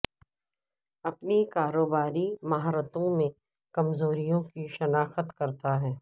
اپنی کاروباری مہارتوں میں کمزوریوں کی شناخت کرتا ہے